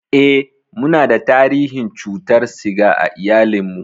Eh, munada tarihin cutar siga a iyalinmu.